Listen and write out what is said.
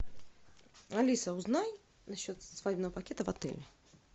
алиса узнай насчет свадебного пакета в отеле